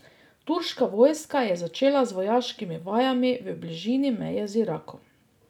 Turška vojska je začela z vojaškimi vajami v bližini meje z Irakom.